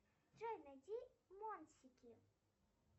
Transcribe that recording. джой найди монсики